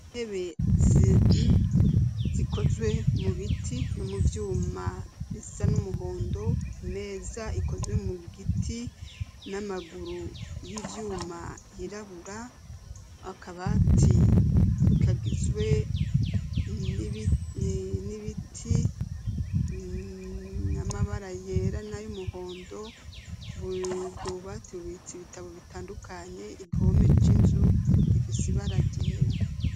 Itebe zikozwe mu biti no mu vyuma risa n'umuhondo meza ikozwe mu giti n'amaguru y'ivyuma yirabura akabati kagizwe n'ibiti namabara yera na yo umuhondo bubwo bubatibitsa ibitabo bitandukanye igihome c'inzu gifisibaragera.